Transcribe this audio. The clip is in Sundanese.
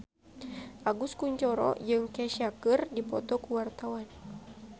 Agus Kuncoro jeung Kesha keur dipoto ku wartawan